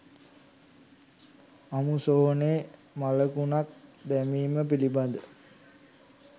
අමුසොහොනේ මළකුණක් දැමීම පිළිබඳ